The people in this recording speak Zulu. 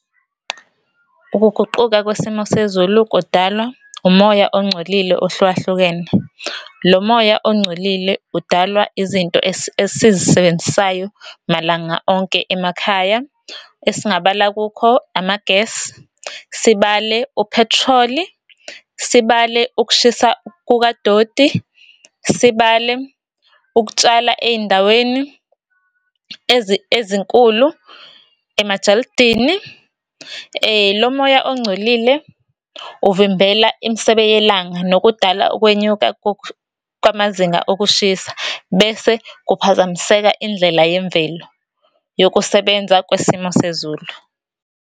Ukuguquka kwesimo sezulu kudalwa umoya ongcolile ohlukahlukene. Lo moya ongcolile udalwa izinto esizisebenzisayo malanga onke emakhaya esingabala kukho, ama-gas, sibale uphethroli, sibale ukushisa kukadoti, sibale ukutshala eyindaweni ezinkulu emajalidini. Lo moya ongcolile uvimbela imisebe yelanga nokudala ukwenyuka kwamazinga okushisa, bese kuphazamiseka indlela yemvelo yokusebenza kwesimo sezulu.